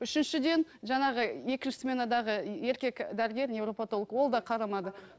үшіншіден жаңағы екінші сменадаға еркек дәрігер невропотолог ол да қарамады